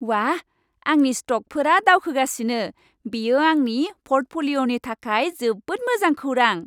बाह! आंनि स्तकफोरा दावखोगासिनो! बेयो आंनि प'र्टफलिय'नि थाखाय जोबोद मोजां खौरां।